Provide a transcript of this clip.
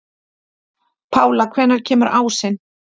Pála, hvenær kemur ásinn?